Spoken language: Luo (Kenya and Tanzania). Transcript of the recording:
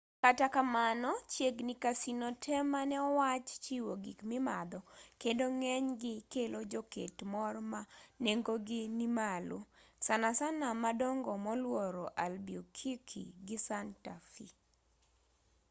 kata kamano chiegni casino te mane owach chiwo gik mimadho kendo ng'enygi kelo joket mor ma nengogi nimalo sanasana madongo moluoro albuquerque gi santa fe